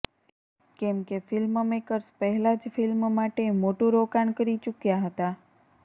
કેમ કે ફિલ્મમેકર્સ પહેલા જ ફિલ્મ માટે મોટું રોકાણ કરી ચૂક્યા હતા